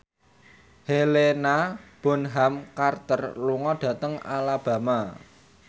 Helena Bonham Carter lunga dhateng Alabama